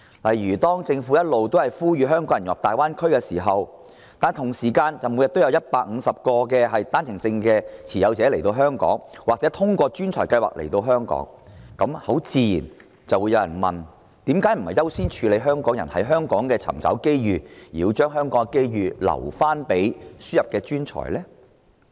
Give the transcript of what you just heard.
例如，政府不斷呼籲香港人融入大灣區，與此同時，每天又有150個單程證持有人或通過優秀人才入境計劃的內地人來港，這難免令人質疑，為何不優先讓香港人在香港尋找機遇，反而把香港的機遇留給輸入的專才？